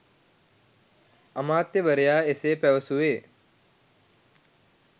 අමාත්‍යවරයා එසේ පැවසුයේ